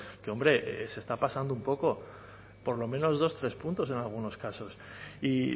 que hombre se está pasando un poco por lo menos dos tres puntos en algunos casos y